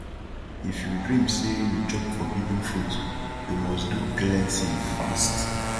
if you dream say you chop forbidden fruit you must do cleansing fast